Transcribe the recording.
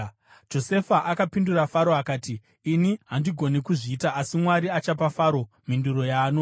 Josefa akapindura Faro akati, “Ini handigoni kuzviita, asi Mwari achapa Faro mhinduro yaanoda.”